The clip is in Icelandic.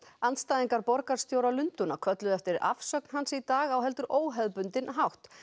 andstæðingar borgarstjóra Lundúna kölluðu eftir afsögn hans í dag á heldur óhefðbundinn hátt